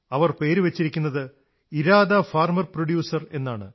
അതിന്റെ പേര് Irada farmer producer എന്നാണ്